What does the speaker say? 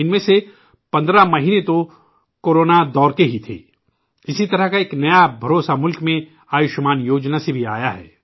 ان میں سے 15 مہینے تو کوروناکے ہی تھے ! اسی طرح کا ایک اعتماد ملک میں 'آیوشمان یوجنا' سے بھی پیدا ہوا ہے